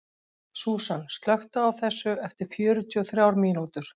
Súsan, slökktu á þessu eftir fjörutíu og þrjár mínútur.